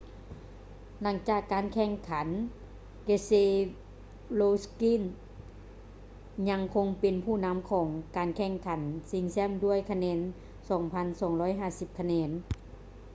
ຫຼັງຈາກການແຂ່ງຂັນ keselowski ຍັງຄົງເປັນຜູ້ນຳຂອງການແຂ່ງຂັນຊິງແຊັມດ້ວຍຄະແນນ 2,250 ຄະແນນ